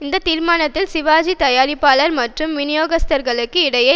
இந்த தீர்மானத்தால் சிவாஜி தயாரிப்பாளர் மற்றும் வினியோகஸ்தர்களுக்கு கிடைக்கும்